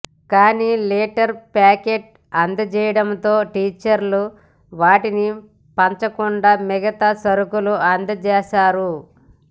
కానీ litre packet అందజేయడంతో టీచర్లు వాటిని పంచకుండా మిగతా సరుకులు అందజేశారు